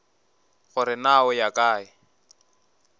gore na o ya kae